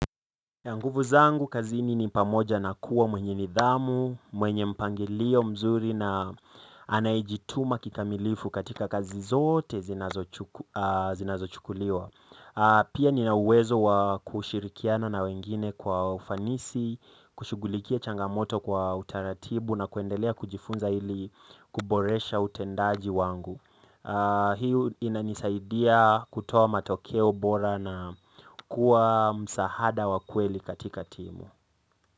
Na nguvu zangu kazini ni pamoja na kuwa mwenye nidhamu, mwenye mpangilio mzuri na anayejituma kikamilifu katika kazi zote zinazochukuliwa. Pia nina uwezo wa kushirikiana na wengine kwa ufanisi, kushughulikia changamoto kwa utaratibu na kuendelea kujifunza ili kuboresha utendaji wangu. Hii inanisaidia kutoa matokeo bora na kuwa msaada wa kweli katika timu.